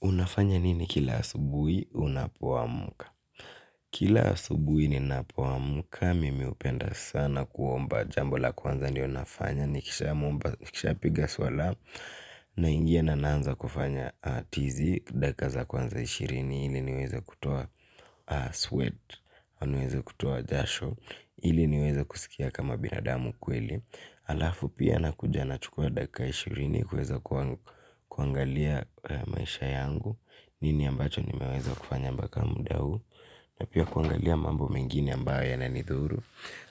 Unafanya nini kila asubui, unapoamka. Kila asubui ni napoamka, mimi hupenda sana kuomba jambo la kwanza ndio nafanya, nikisha piga swala, na ingia na naanza kufanya tizi, dakika za kwanza ishirini, ili niweze kutoa sweat, au nueze kutoa jasho, ili niweze kusikia kama binadamu kweli. Alafu pia na kuja na chukua dakika ishirini kueza kuangalia maisha yangu. Nini ambacho nimeweza kufanya mbaka mda huu. Na pia kuangalia mambo mengine ambayo yanani dhuru.